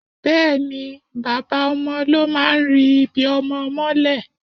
Bẹẹni, bàbá ọmọ ló máa ń ri ibí ọmọ mọ́lẹ̀.